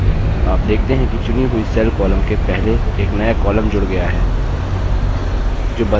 आप देखते हैं कि चुनी हुई cell column के पहले एक नया column जूड़ गया है